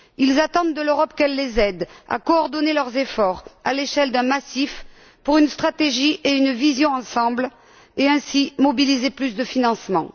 Ils attendent de l'Europe qu'elle les aide à coordonner leurs efforts, à l'échelle d'un massif, pour une stratégie et une vision d'ensemble et, ainsi, à mobiliser plus de financement.